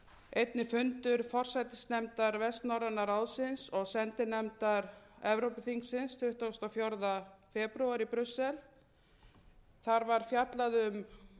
einnig fundur forsætisnefndar vestnorræna ráðsins og sendinefndar evrópuþingsins tuttugasta og fjórða febrúar í brussel þar var fjallað um